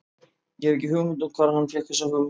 Ég hef ekki hugmynd um það hvar hann fékk þessa hugmynd.